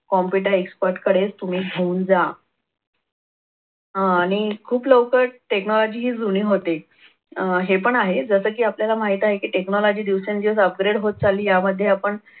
computer expert कडे तुम्ही घेऊन जा. अह आणि खूप लवकर technology ही जुनी होते. अह हे पण आहे जसं की आपल्याला माहीतच आहे की technology दिवसेंदिवस upgrade होत चालली यामध्ये आपण